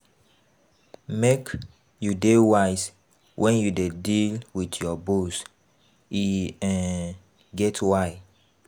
Make you dey wise wen you dey deal wit your boss, e um get why.